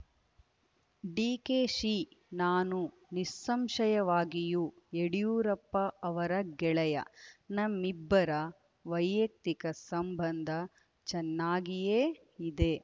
ಡಿಕೆಶಿ ನಾನು ನಿಸ್ಸಂಶಯವಾಗಿಯೂ ಯಡಿಯೂರಪ್ಪ ಅವರ ಗೆಳೆಯ ನಮ್ಮಿಬ್ಬರ ವೈಯಕ್ತಿಕ ಸಂಬಂಧ ಚೆನ್ನಾಗಿಯೇ ಇದೆ